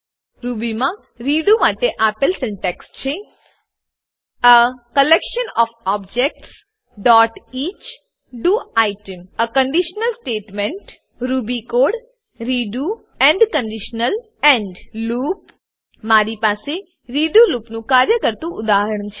રૂબીમાં redo redo માટે આપેલ syntax છે એ કલેક્શન ઓએફ objectsઇચ D O I T E M a conditional statement conditional statement Ruby code Ruby code redo redo end end conditional end loop મારી પાસે redo લૂપનું કાર્ય કરતુ ઉદાહરણ છે